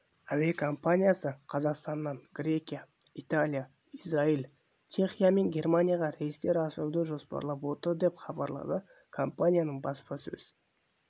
әуекомпаниясы қазақстаннан грекия италия израиль чехия мен германияға рейстер ашуды жоспарлар отыр деп хабарлады компанияның баспасөз